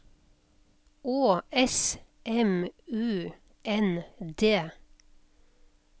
Å S M U N D